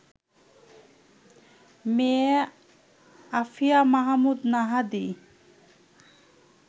মেয়ে আফিয়া মাহমুদ নাহাদী